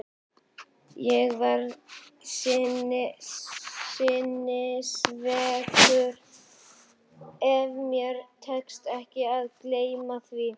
Ég verð sinnisveikur, ef mér tekst ekki að gleyma því.